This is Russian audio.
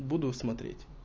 буду смотреть